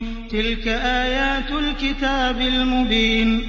تِلْكَ آيَاتُ الْكِتَابِ الْمُبِينِ